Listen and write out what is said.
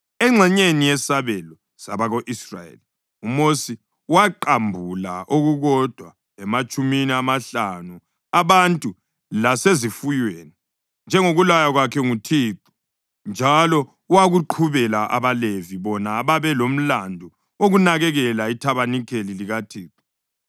Engxenyeni yesabelo sabako-Israyeli, uMosi waqambula okukodwa ematshumini amahlanu abantu lasezifuyweni, njengokulaywa kwakhe nguThixo, njalo wakuqhubela abaLevi, bona ababelomlandu wokunakekela ithabanikeli likaThixo.